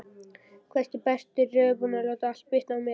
hvæsti Berti reiðubúinn að láta allt bitna á mér.